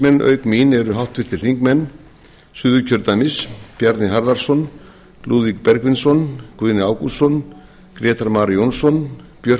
auk mín eru háttvirtir þingmenn suðurkjördæmis bjarni harðarson lúðvík bergvinsson guðni ágústsson grétar mar jónsson björk